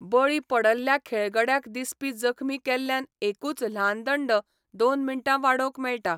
बळी पडल्ल्या खेळगड्याक दिसपी जखमी केल्ल्यान एकूच ल्हान दंड दोन मिनटां वाडोवंक मेळटा.